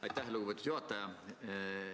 Aitäh, lugupeetud juhataja!